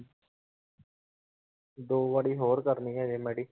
ਦੋ ਵਾਰੀ ਹੋਰ ਕਰਨੀ ਹਜੇ ਮੇਰੀ